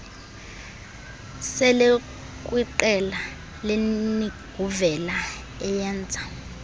selekwiqela lerniguvela eyenza